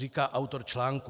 Říká autor článku.